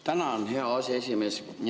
Tänan, hea aseesimees!